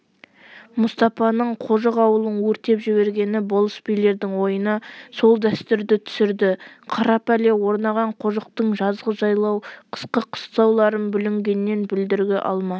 мұстапаның қожық ауылын өртеп жібергені болыс-билердің ойына сол дәстүрді түсірді қара пәле орнаған қожықтың жазғы жайлау қысқы қыстауларын бүлінгеннен бүлдіргі алма